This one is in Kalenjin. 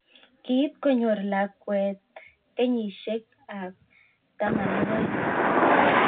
Kiit konyor lakwet age nebo 12.